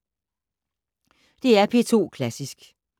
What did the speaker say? DR P2 Klassisk